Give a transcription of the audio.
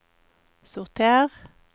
sorter